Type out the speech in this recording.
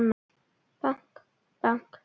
Bank, bank.